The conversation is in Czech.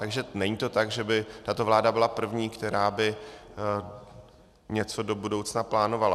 Takže není to tak, že by tato vláda byla první, která by něco do budoucna plánovala.